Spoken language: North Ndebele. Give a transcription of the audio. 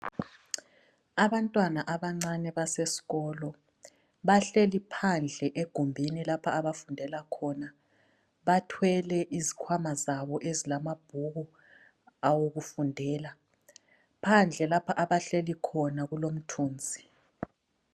Abantwana abancane basesikolo bahleli phandle egumbini lapha abafundela khona, bathwele izikhwama zabo ezilamabhuku awokufundela, phandle lapha abahleli khona kulomthunzi.